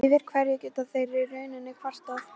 Yfir hverju geta þeir í rauninni kvartað?